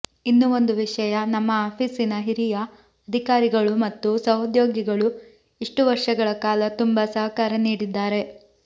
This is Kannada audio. ಇನ್ನು ಒಂದು ವಿಷಯ ನಮ್ಮ ಆಫೀಸಿನ ಹಿರಿಯ ಅಧಿಕಾರಿಗಳು ಮತ್ತು ಸಹೋದ್ಯೋಗಿಗಳು ಇಷ್ಟು ವರ್ಷಗಳ ಕಾಲ ತುಂಬಾ ಸಹಕಾರ ನೀಡಿದ್ದಾರೆ